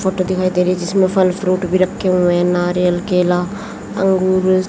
photo दिखाई दे रही जिसमें फल फ्रूट भी रखे हुए नारियल केला अंगूर--